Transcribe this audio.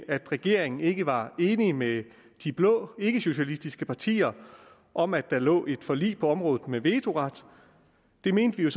at regeringen ikke var enig med de blå ikkesocialistiske partier om at der lå et forlig på området med vetoret det mente vi jo